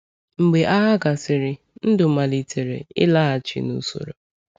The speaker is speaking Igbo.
Mgbe agha gasịrị, ndụ malitere ịlaghachi n’usoro.